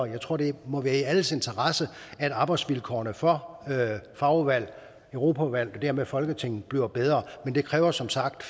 jeg tror det må være i alles interesse at arbejdsvilkårene for fagudvalgene og europaudvalget og dermed folketinget bliver bedre men det kræver som sagt